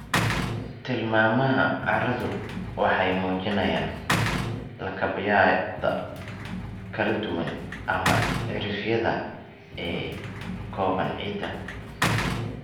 Tilmaamaha carradu waxay muujinayaan lakabyada kala duwan, ama cirifyada, ee ka kooban ciidda.